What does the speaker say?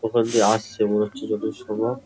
ওখান দিয়ে আসছে মনে হচ্ছে যতদূর সম্ভব --